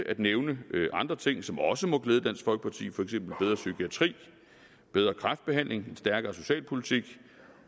at nævne andre ting som også må glæde dansk folkeparti for eksempel bedre psykiatri bedre kræftbehandling en stærkere socialpolitik